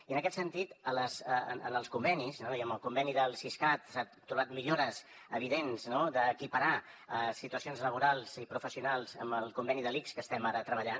i en aquest sentit en els convenis i en el conveni del siscat s’han trobat millores evidents no d’equiparar situacions laborals i professionals amb el conveni de l’ics que estem ara treballant